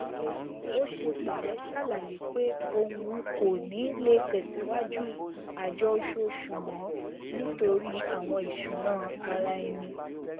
ó ṣe pẹlẹ ṣàlàyé pé òun kò ní le tẹsìwájú àjọ oṣooṣù mọ nítorí àwọn ìṣúná ara ẹni